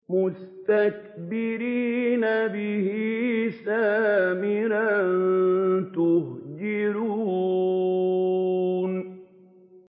مُسْتَكْبِرِينَ بِهِ سَامِرًا تَهْجُرُونَ